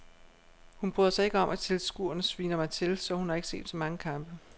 Hun bryder sig ikke om at tilskuerne sviner mig til, så hun har ikke set så mange kampe.